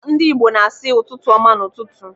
Ndị Igbo na-asị "ụtụtụ ọma" n'ụtụtụ.